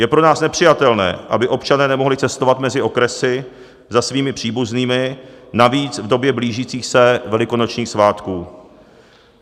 Je pro nás nepřijatelné, aby občané nemohli cestovat mezi okresy za svými příbuznými, navíc v době blížících se velikonočních svátků.